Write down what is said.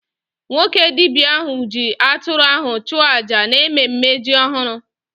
Nwoke dibia ahụ ji atụrụ ahụ chụọ aja n'ememe ji ọhụrụ